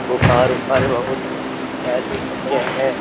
बुखार ऊपर बहुत ऐसी है।